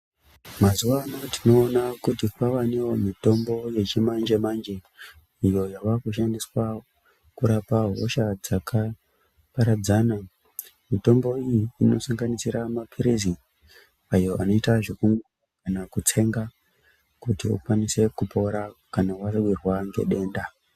Mazuwa anaya tinoona kuti kwavanewo mitombo yechimanje manje iyo yavakushandiswa kurapa hosha dzakaparadzana mitombo iyi inosanganisira mapirizi ayo anoita zveku kana kutsenga kuti ukwanise kupora kana wawirwa ngedenda.